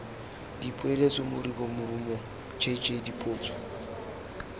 dipoeletso moribo morumo jj dipotso